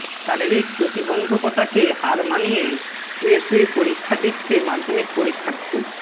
শারীরিক প্রতিবন্ধকতাকে হার মানিয়ে শুয়ে শুয়ে পরীক্ষা দিচ্ছে মাধ্যমিক পরীক্ষার্থী